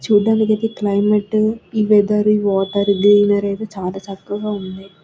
చూడడనికి అయితే క్లైమేట్ ఈ వెదర్ ఈ వాటర్ గ్రీనరీ అయితే చాల చక్కగా ఉంది.